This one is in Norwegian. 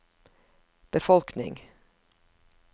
befolkning